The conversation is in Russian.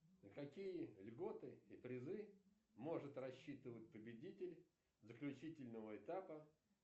на какие льготы и призы может рассчитывать победитель заключительного этапа